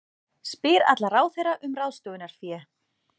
Spyr alla ráðherra um ráðstöfunarfé